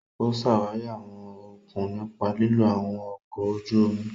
O ṣawari awọn okun nipa lilo awọn ọkọ ojú omi.